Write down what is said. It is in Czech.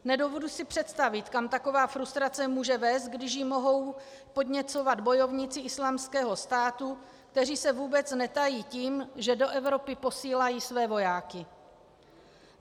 Nedovedu si představit, kam taková frustrace může vést, když ji mohou podněcovat bojovníci Islámského státu, kteří se vůbec netají tím, že do Evropy posílají své vojáky.